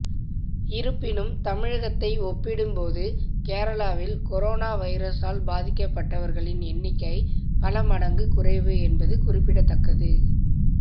இருப்பினும் தமிழகத்தை ஒப்பிடும்போது கேரளாவில் கொரோனா வைரசால் பாதிக்கப்பட்டவர்களின் எண்ணிக்கை பல மடங்கு குறைவு என்பது குறிப்பிடத்தக்கது